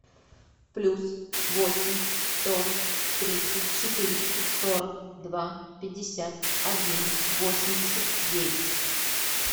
плюс восемь сто тридцать четыреста сорок два пятьдесят один восемьдесят девять